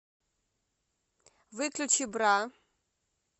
выключи бра